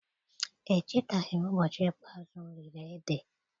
Echetaghi m ụbọchị ikpe azụ mụ riri ede